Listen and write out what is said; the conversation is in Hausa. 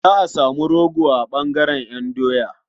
Za a samu rogo a ɓangaren ƴan doya.